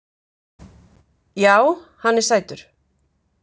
Já, hann er sætur.